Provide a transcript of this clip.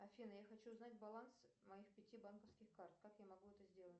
афина я хочу узнать баланс моих пяти банковских карт как я могу это сделать